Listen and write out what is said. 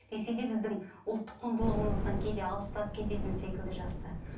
десе де біздің ұлттық құндылығымыздан кейде алыстап кететін секілді жастар